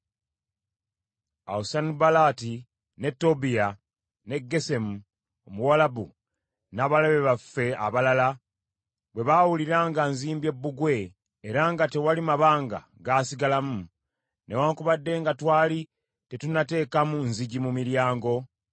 Awo Sanubalaati, ne Tobiya ne Gesemu Omuwalabu n’abalabe baffe abalala bwe baawulira nga nzimbye bbugwe era nga tewali mabanga gaasigalamu, newaakubadde nga twali tetunateekamu nzigi mu miryango,